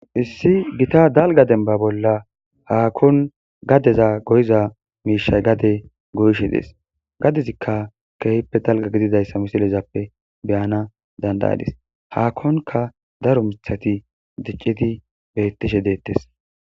issi gita dalga demba bolla haakon gadeza goyiza miishay gade goyishe dees gadezikka keeyppe dalga gididayssa misilezappe beyana dandayadis haakonka daro mithati dicciti bettishe deettes